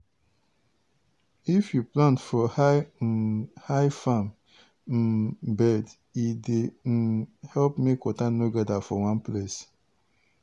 if you plant for high um high farm um bed e dey um help make water no gather for one place.